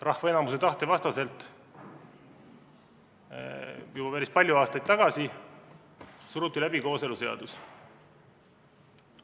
Rahva enamuse tahte vastaselt ju päris palju aastaid tagasi suruti läbi kooseluseadus.